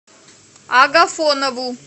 агафонову